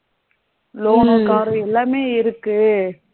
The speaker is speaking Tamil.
Loan னு car ரு எல்லாமே இருக்கு.